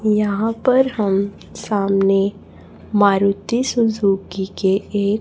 यहां पर हम सामने मारुती सुजुकी के एक--